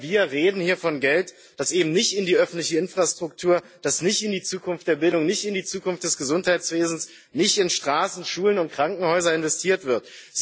Aber wir reden hier von Geld, das eben nicht in die öffentliche Infrastruktur, das nicht in die Zukunft der Bildung, nicht in die Zukunft des Gesundheitswesens, nicht in Straßen, Schulen und Krankenhäuser investiert wird.